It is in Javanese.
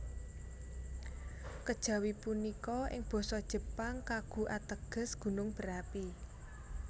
Kejawi punika ing Basa Jepang kagu ateges gunung berapi